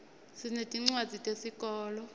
sinetincwadzi tesikolo